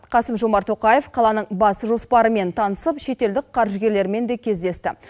қасым жомарт тоқаев қаланың бас жоспарымен танысып шетелдік қаржыгерлермен де кездесті